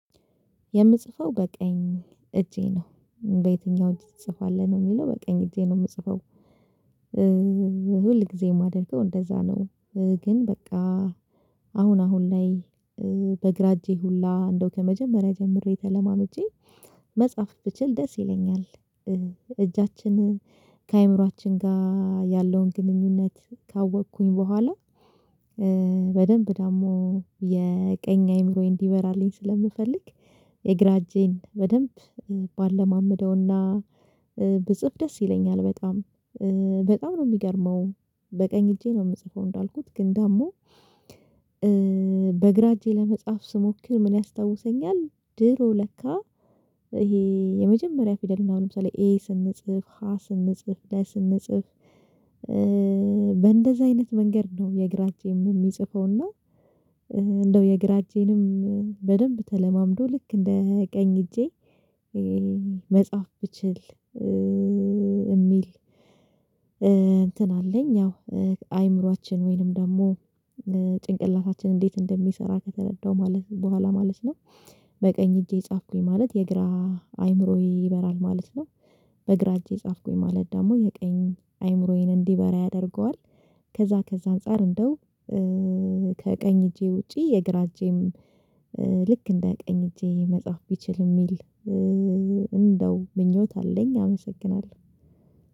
የምጽፈው በቀኝ እጄ ነው በየትኛው እጅ ትጽፋለህ ነው የሚለው በቀኝ እጄ ነው የምጽፈው ሁል ጊዜም የማደርገው እንደዛ ነው ግን በቃ አሁን አሁን ላይ በግራ እጄ ሁላ እንደው ከመጀመሪያ ጀምሬ ተለማምጄ መጻፍ ብችል ደስ ይለኛል እጃችንን ከአእምሮአችን ጋር ያለውን ግንኙነት ካወቅኩኝ በኋላ በደንብ ደግሞ የቀኝ አይምሮዬ እንዲበራልኝ ስለምፈልግ የግራ እጄን በደንብ ባለማምደውና ብጽፍ ደስ ይለኛል በጣም በጣም ነው የሚገርመው በቀኝ እጄ ነው የምጽፈው እንዳልኩት ግን ደግሞ በግራ እጄ ለመጽሐፍ ስሞክር ምን ያስታውሰኛል ድሮ ለካ ይሄ የመጀመሪያ ፊደልናው ለምሳሌ ኤ ስንጽፍ፥ ሀ ስንጽፍ ፥ለ ስንጽፍ በእንደዛ አይነት መንገድ ነው የእግራቴንም የሚጽፈውና እንደው የግራ እጄንም በደንብ ተለማምዶ ልክ እንደ ቀኝ እጄ መጽሐፍ ብችል የሚል አለኝ ያው አይምሮአችን ወይንም ደግሞ ጭንቅላታችን እንዴት እንደሚሰራ ከተረዳው ማለት በኋላ ማለት ነው በቀኝ እጄ ጻፍኩኝ ማለት የግራ አይምሮዬ ይበራል ማለት ነው። በግራ እጄ ጻፍኩኝ ማለት ደግሞ የቀኝ አይምሮዬን እንዲበራ ያደርገዋል። ከዛ ከዛ አንፃር እንደው ከቀኝ እጄ ውጪ የግራ እጄም ልክ እንደ ቀኝ እጄ መጻፍ ቢችል የሚል እንደው ምኞት አለኝ አመሰግናለሁ